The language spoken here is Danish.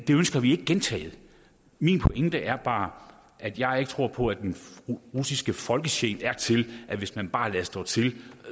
det ønsker vi ikke gentaget min pointe er bare at jeg ikke tror på at den russiske folkesjæl er til at hvis man bare lader stå til